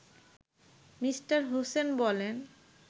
me: Hossain বলেন